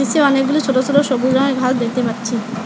নীচে অনেকগুলো ছোট ছোট সবুজ রঙের ঘাস দেখতে পাচ্ছি।